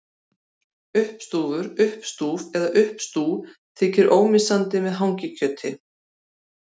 Uppstúfur, uppstúf eða uppstú þykir ómissandi með hangikjöti.